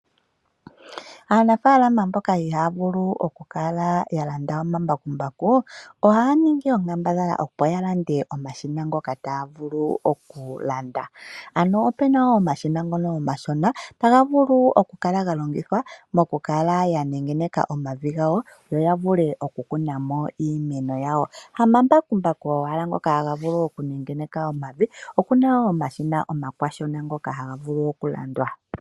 Aanafalama mboka ihaya vulu oku kala ya landa omambakumbaku ohaya ningi onkambadhala opo ya lande omashina ngoka taa vulu okulyata. Ano opena wo omashina ngoka omashona taga vulu oku kala ga longithwa moku kala ya nengeneka omavi gawo, yo ya vule oku kala ya kuna mo iimeno yawo. Hama mbakumbaku owala ngoka haga vulu oku kala ga nengeneka omavi oku na wo omashina omakwashona ngoka haga vulu oku landwa.